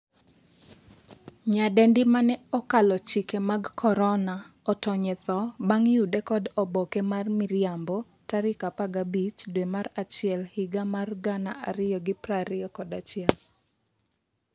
nyadendi mane 'okalo chike mag korona' otony e tho bang' yude kod oboke mar miriambo tarik 15 dwe mar achiel higa mar 2021